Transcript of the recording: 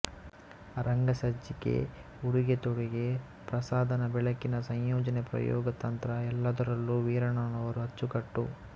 ರಂಗಸಜ್ಜಿಕೆ ಉಡುಗೆತೊಡುಗೆ ಪ್ರಸಾಧನ ಬೆಳಕಿನ ಸಂಯೋಜನೆ ಪ್ರಯೋಗ ತಂತ್ರ ಎಲ್ಲದರಲ್ಲೂ ವೀರಣ್ಣನವರು ಅಚ್ಚುಕಟ್ಟು